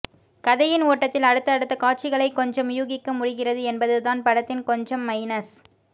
கதையின் ஓட்டத்தில் அடுத்த அடுத்த காட்சிகளை கொஞ்சம் யூகிக்க முடிகிறது என்பது தான் படத்தின் கொஞ்சம் மைனஸ்